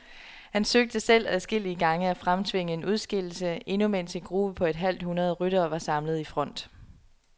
Han søgte selv adskillige gange at fremtvinge en udskillelse, endnu mens en gruppe på et halvt hundrede ryttere var samlet i front.